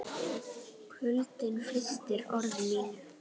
Kuldinn frystir orð mín.